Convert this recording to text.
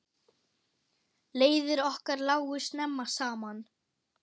Leiðir okkar lágu snemma saman.